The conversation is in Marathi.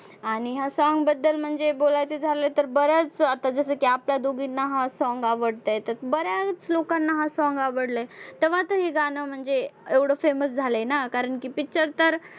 आणि ह्या song बद्दल म्हणजे बोलायचं झालं तर बरंच आता जसं की आपल्या दोघींना हा song आवडतंय तर बऱ्याच लोकांना हा song आवडलंय. तेव्हा तर हे गाणं म्हणजे एवढं famous झालंय ना. कारण की picture तर